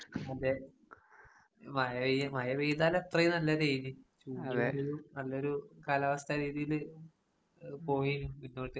അതെ മഴ പെയ് മഴ പെയ്താല് അത്ര തന്നെ വെയില് അതെ നല്ലൊരു കാലാവസ്ഥ രീതിയില് പോയി പിന്നോട്ട്